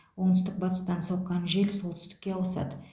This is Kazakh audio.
оңтүстік батыстан соққан жел солтүстікке ауысады